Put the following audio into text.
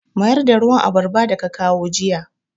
Mayar da ruwan abarba da ka kawo jiya!